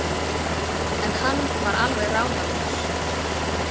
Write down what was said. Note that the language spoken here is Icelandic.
En hann var alveg ráðalaus.